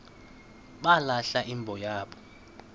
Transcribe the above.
balahla imbo yabo